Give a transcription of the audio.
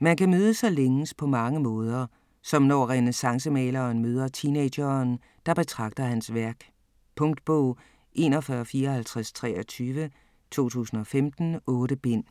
Man kan mødes og længes på mange måder, som når renæssancemaleren møder teenageren, der betragter hans værk. Punktbog 415423 2015. 8 bind.